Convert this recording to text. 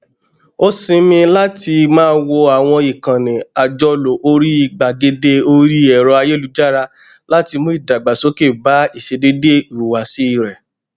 ó sinmi láti máa wo àwọn ìkànnì àjọlò orí gbàgede orí ẹrọayélujára láti mú ìdàgbàsókè bá ìṣedéédé ìhùwàsí rẹ